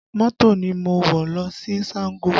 Mọ́tò ni mo wọ̀ lọ sí Sango